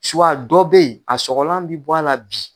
dɔ bɛ yen a sɔgɔlan bɛ bɔ la bi.